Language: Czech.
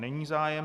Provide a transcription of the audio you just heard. Není zájem.